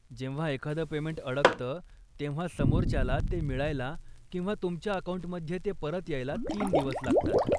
जेव्हा एखादं पेमेंट अडकतं, तेव्हा समोरच्याला ते मिळायला किंवा तुमच्या अकाऊंटमध्ये ते परत यायला तीन दिवस लागतात.